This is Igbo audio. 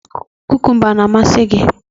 Kukumba a-na amasị gị?